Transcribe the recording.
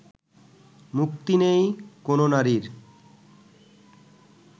মুক্তি নেই কোনও নারীর